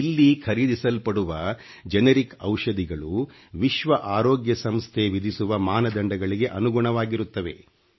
ಇಲ್ಲಿ ಖರೀದಿಸಲ್ಪಡುವ geಟಿeಡಿiಛಿ ಔಷಧಿಗಳು ವಿಶ್ವ ಆರೋಗ್ಯ ಸಂಸ್ಥೆ ವಿಧಿಸುವ ಮಾನದಂಡಗಳಿಗೆ ಅನುಗುಣವಾಗಿರುತ್ತವೆ